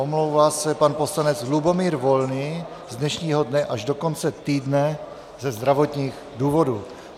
Omlouvá se pan poslanec Lubomír Volný z dnešního dne až do konce týdne ze zdravotních důvodů.